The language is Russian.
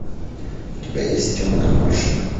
у тебя есть темная башня